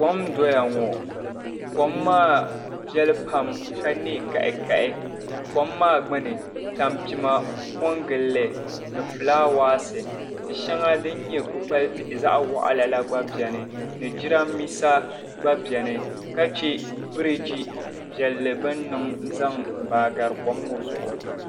Kom n doya ŋɔ, kom maa nɛ kahikahi, kom maa gbuni tampima bela ni, ka fulaawasi mini kpukpali tihi be kom maa gbuni, ka jiramiisa be kom maa gbuni ka biriji baai yaɣi kom maa gaari.